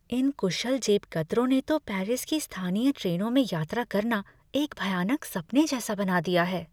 इन कुशल जेबकतरों ने तो पेरिस की स्थानीय ट्रेनों में यात्रा करना एक भयानक सपने जैसा बना दिया हैं।